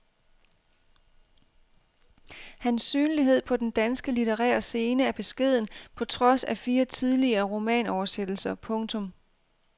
Hans synlighed på den danske litterære scene er beskeden på trods af fire tidligere romanoversættelser. punktum